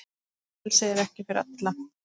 Frelsi er ekki fyrir alla.